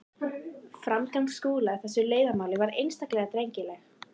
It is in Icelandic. Framganga Skúla í þessu leiðindamáli var einstaklega drengileg.